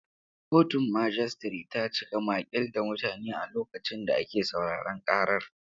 Kotun majistare ta cika maƙil da mutane a lokacin da ake sauraron ƙarar.